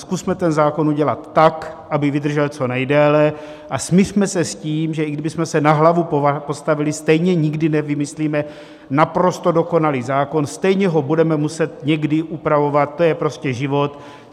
Zkusme ten zákon udělat tak, aby vydržel co nejdéle, a smiřme se s tím, že i kdybychom se na hlavu postavili, stejně nikdy nevymyslíme naprosto dokonalý zákon, stejně ho budeme muset někdy upravovat, to je prostě život.